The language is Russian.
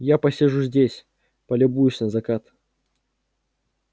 я посижу здесь полюбуюсь на закат